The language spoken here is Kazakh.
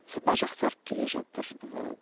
сапа жақсарып келе жатыр ыыы